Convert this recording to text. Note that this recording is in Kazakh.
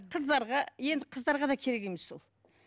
қыздарға енді қыздарға да керек емес пе ол